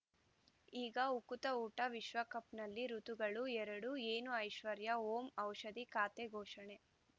ಈಗ ಉಕುತ ಊಟ ವಿಶ್ವಕಪ್‌ನಲ್ಲಿ ಋತುಗಳು ಎರಡು ಏನು ಐಶ್ವರ್ಯಾ ಓಂ ಔಷಧಿ ಖಾತೆ ಘೋಷಣೆ